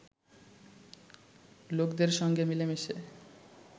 লোকদের সঙ্গে মিলে মিশে